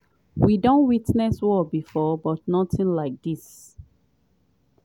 “we don witness war bifor but notin like dis.